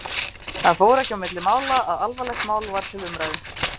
Það fór ekki á milli mála að alvarlegt mál var til umræðu.